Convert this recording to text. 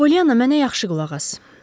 Polyanna, mənə yaxşı qulaq as.